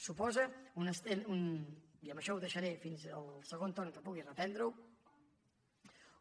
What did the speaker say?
suposa i amb això ho deixaré fins al segon torn que pugui reprendre ho